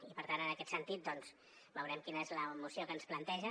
i per tant en aquest sentit doncs veurem quina és la moció que ens planteja